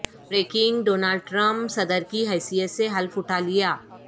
breaking Donald Trump صدر کی حیثیت سے حلف اٹھا لیا